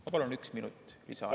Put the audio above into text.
Ma palun ühe minuti lisaaega.